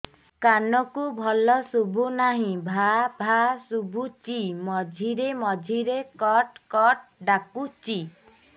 କାନକୁ ଭଲ ଶୁଭୁ ନାହିଁ ଭାଆ ଭାଆ ଶୁଭୁଚି ମଝିରେ ମଝିରେ କଟ କଟ ଡାକୁଚି